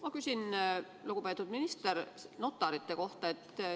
Ma küsin, lugupeetud minister, notarite kohta.